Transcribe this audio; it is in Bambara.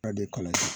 kalan